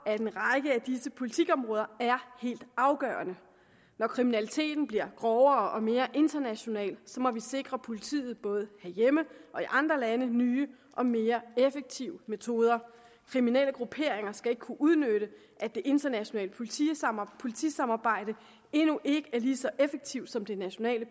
at en række af disse politikområder er helt afgørende når kriminaliteten bliver grovere og mere international må vi sikre politiet både herhjemme og i andre lande nye og mere effektive metoder kriminelle grupperinger skal ikke kunne udnytte at det internationale politisamarbejde politisamarbejde endnu ikke er lige så effektivt som det nationale